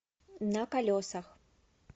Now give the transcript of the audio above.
на колесах